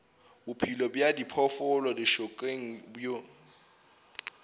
bophelo bja diphoofolo lešokeng bo